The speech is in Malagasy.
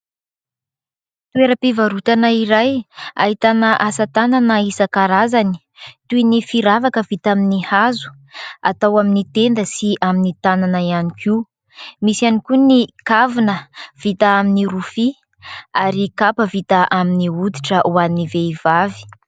Toeram-pivarotana iray ahitana asa tanana isan-karazany toy ny firavaka vita amin'ny hazo atao amin'ny tenda sy amin'ny tanana ihany koa. Misy ihany koa ny kavina vita amin'ny rofia ary kapa vita amin'ny hoditra ho an'ny vehivavy.